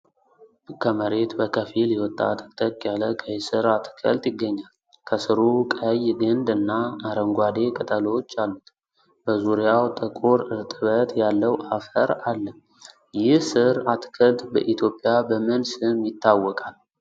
ከመሬት በከፊል የወጣ ጥቅጥቅ ያለ ቀይ ስር አትክልት ይገኛል። ከሥሩ ቀይ ግንድ እና አረንጓዴ ቅጠሎች አሉት። በዙሪያው ጥቁር እርጥበት ያለው አፈር አለ። ይህ ስር አትክልት በኢትዮጵያ በምን ስም ይታወቃል?